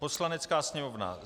"Poslanecká sněmovna: